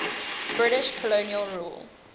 british colonial rule